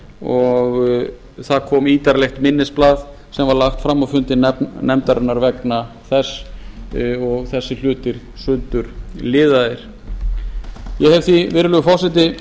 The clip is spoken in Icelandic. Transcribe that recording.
og það kom ítarlegt minnisblað sem var lagt fram á fundi nefndarinnar vegna þess og þessir hlutir sundurliðaðir ég hef virðulegur forseti